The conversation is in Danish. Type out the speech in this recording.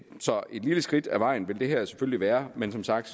lille skridt på vejen vil det her selvfølgelig være men som sagt